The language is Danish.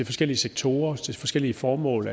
forskellige sektorer til forskellige formål